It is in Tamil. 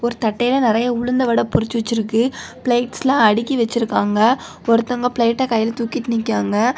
தட்டையா நிறைய உளுந்த வடை பொறிச்சி வெச்சிருக்குபிளேட்ஸ்ல அடுக்கி வச்சிருக்காங்க ஒருத்தங்க பிளேட்டை கையில தூக்கிட்டு நிக்கிறாங்க.